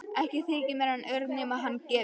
Ekki þyki mér hann ör nema hann gefi.